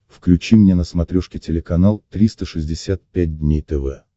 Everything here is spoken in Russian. включи мне на смотрешке телеканал триста шестьдесят пять дней тв